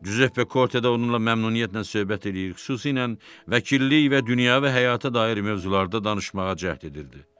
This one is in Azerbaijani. Giuseppe Korte də onunla məmnuniyyətlə söhbət eləyib, xüsusilə vəkillik və dünyəvi həyata dair mövzularda danışmağa cəhd edirdi.